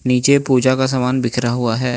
नीचे पूजा का सामान बिखरा हुआ है।